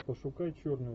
пошукай черный